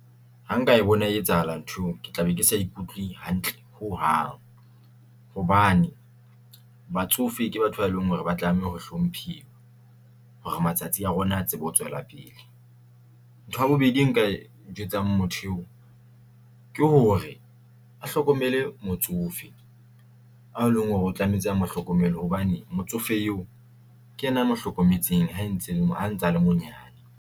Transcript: Ha nka e bona e etsahala ntho eo ke tla be ke sa ikutlwe hantle ho hang hobane batsofe ke batho ba leng hore ba tlameha hore hlomphiwa hore matsatsi a rona a tsebe ho tswela pele. Ntho ya bobedi e nka e jwetsang motho eo ke hore a hlokomele motsofe ao leng hore o tlametse a mo hlokomele hobane motsofe eo ke yena mo hlokometseng ha ntsa le monyane.